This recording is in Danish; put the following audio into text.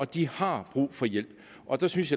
de har brug for hjælp og det synes